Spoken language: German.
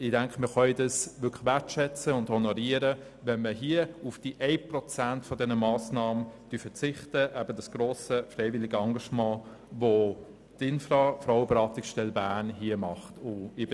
Dieses können wir wertschätzen und honorieren, indem wir auf 1 Prozent dieser Massnahme, nämlich das grosse freiwillige Engagement der Infra Frauenberatungsstelle Bern verzichten.